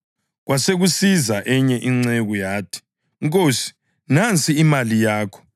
Kwasekusiza enye inceku yathi, ‘Nkosi, nansi imali yakho; bengiyigoqele ngelembu.